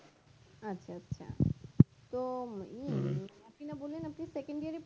আচ্ছা আচ্ছা তো উম আপনি না বললেন আপনি second year এ